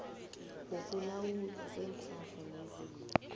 wokulawulwa kweenhlahla nezinto